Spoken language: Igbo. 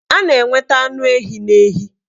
A na-enweta anụ ehi n'ehi